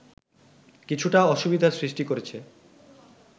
কিছুটা অসুবিধার সৃষ্টি করেছে